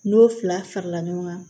N'o fila farala ɲɔgɔn kan